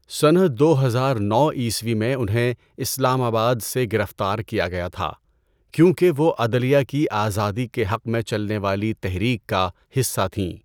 سنہ دو ہزار نو عیسوی میں انہیں اسلام آباد سے گرفتار کیا گیا تھا کیونکہ وہ عدلیہ کی آزادی کے حق میں چلنے والی تحریک کا حصہ تھیں۔